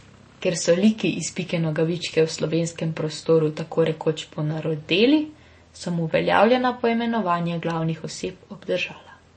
Ker so liki iz Pike Nogavičke v slovenskem prostoru tako rekoč ponarodeli, sem uveljavljena poimenovanja glavnih oseb obdržala.